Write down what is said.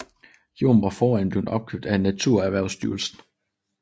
Jorden var forinden blevet opkøbt af NaturErhvervstyrelsen